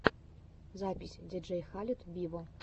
запись диджей халед виво